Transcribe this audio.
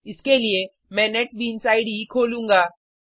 इसके लिए मैं नेटबीन्स इडे खोलूंगा